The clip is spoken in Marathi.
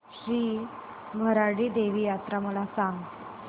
श्री भराडी देवी यात्रा मला सांग